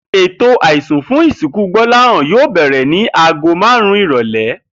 Ètò àisùn fún ìsìnkú Gbó̩láhàn yóò bè̩rè̩ ni aago márùn-ún ìrò̩lé̩